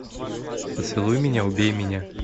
поцелуй меня убей меня